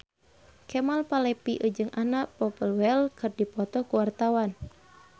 Kemal Palevi jeung Anna Popplewell keur dipoto ku wartawan